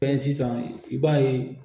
Fɛn sisan i b'a ye